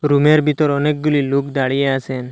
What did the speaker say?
রুমের ভিতর অনেকগুলি লোক দাঁড়িয়ে আছেন।